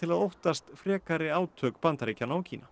að óttast frekari átök Bandaríkjanna og Kína